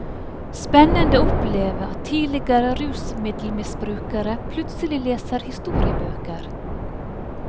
Spennende å oppleve at tidligere rusmiddelmisbrukere plutselig leser historiebøker.